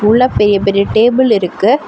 உள்ள பெரிய பெரிய டேபிள் இருக்கு.